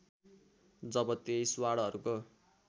जब २३ वार्डहरूको